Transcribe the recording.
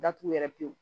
Datugu yɛrɛ pewu